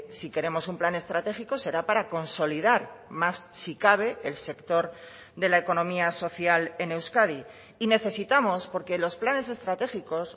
si queremos un plan estratégico será para consolidar más si cabe el sector de la economía social en euskadi y necesitamos porque los planes estratégicos